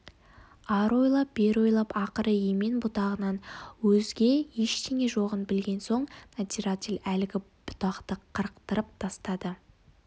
ары ойлап бері ойлап ақыры емен бұтағынан өзге ештеңе жоғын білген соң надзиратель әлгі бұтақты қырықтырып тастады